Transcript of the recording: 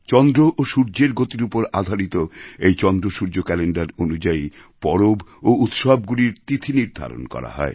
চন্দ্র ও সূর্যের গতির উপর আধারিত এই চন্দ্রসূর্য ক্যালেণ্ডার অনুযায়ী পরব ও উৎসবগুলির তিথি নির্ধারণ করা হয়